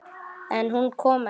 En hún kom ekki.